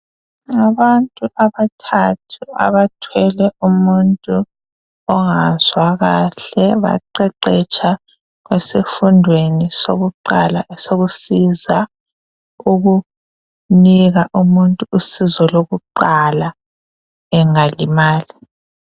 Abantu abathathu abathwele umuntu ongazwa kahle, baqeqetsha esifundweni sokuqala esokusiza ukunika umuntu usizo lokuqala bengalimala.